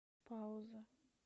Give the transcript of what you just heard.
пауза